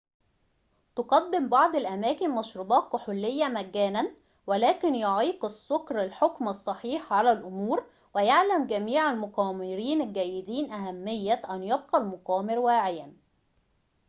تُقدِم بعض الأماكن مشروبات كحولية مجانًا ولكن يعيق السُكر الحُكم الصحيح على الأمور ويعلم جميع المقامرين الجيدين أهمية أن يبقى المقامر واعيًا